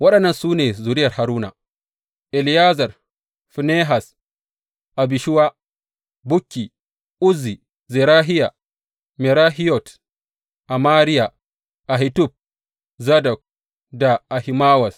Waɗannan su ne zuriyar Haruna, Eleyazar, Finehas, Abishuwa, Bukki, Uzzi, Zerahiya, Merahiyot, Amariya, Ahitub, Zadok da Ahimawaz.